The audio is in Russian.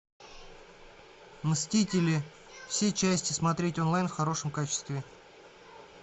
мстители все части смотреть онлайн в хорошем качестве